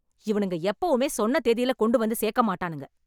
இவனுங்க எப்பவுமே சொன்ன தேதியில கொண்டு வந்து சேர்க்க மாட்டானுங்க